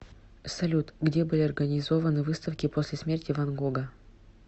салют где были организованы выставки после смерти ван гога